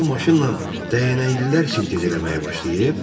O maşınla dəyənəklilər sintez eləməyə başlayıb.